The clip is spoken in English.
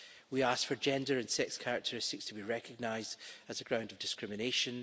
We ask for gender and sex characteristics to be recognised as a ground of discrimination.